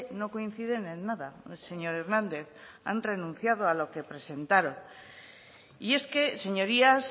no coinciden en nada señor hernández han renunciado a lo que presentaron y es que señorías